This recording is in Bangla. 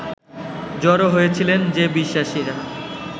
জড়ো হয়েছিলেন যে বিশ্বাসীরা